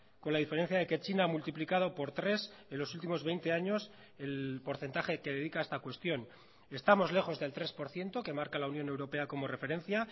con la diferencia de que china multiplicado por tres en los últimos veinte años el porcentaje que dedica a esta cuestión estamos lejos del tres por ciento que marca la unión europea como referencia